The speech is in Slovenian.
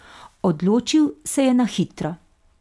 Odločil se je na hitro.